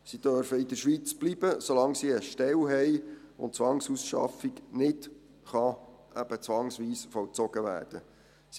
Sie dürften in der Schweiz bleiben, solange sie eine Stelle haben und die Zwangsausschaffung nicht eben zwangsweise vollzogen werden kann.